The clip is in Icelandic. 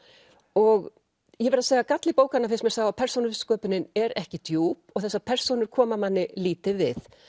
og ég verð að segja að galli bókarinnar finnst mér sá að persónusköpunin er ekki djúp og þessar persónur koma manni lítið við